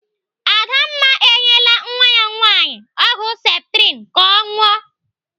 Adamma enyela nwa ya nwaanyị ọgwụ septrin ka ọ ṅụọ.